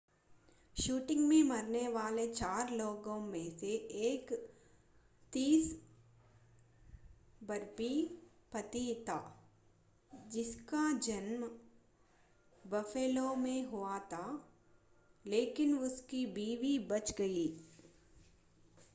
shooting में मरने वाले चार लोगों में से एक 30 वर्षीय पति था जिसका जन्म बफ़ेलो में हुआ था लेकिन उसकी बीवी बच गयी